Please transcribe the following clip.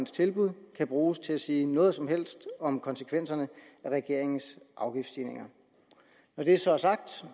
tilbud kan bruges til at sige noget som helst om konsekvenserne af regeringens afgiftsstigninger når det så er sagt